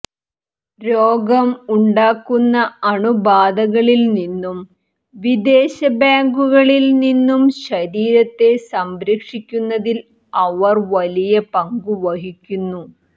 രോഗം ഉണ്ടാക്കുന്ന അണുബാധകളിൽ നിന്നും വിദേശബാങ്കുകളിൽ നിന്നും ശരീരത്തെ സംരക്ഷിക്കുന്നതിൽ അവർ വലിയ പങ്ക് വഹിക്കുന്നു